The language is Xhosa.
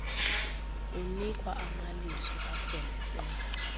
unikwa amalizo afelefele